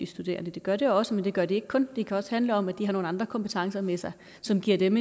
studerende det gør det også men det gør det ikke kun det kan også handle om at de har nogle andre kompetencer med sig som giver dem